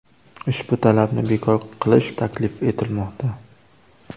Ushbu talabni bekor qilish taklif etilmoqda.